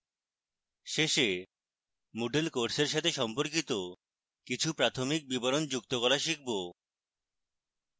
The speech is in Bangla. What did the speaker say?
শেষে moodle এর কোর্সের সাথে সম্পর্কিত কিছু প্রাথমিক বিবরণ যুক্ত করা শিখব